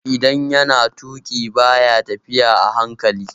Idan yana tuƙi ba ya tafiya a hankali